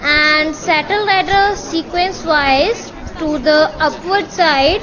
and settled at a sequence wise to the upward side.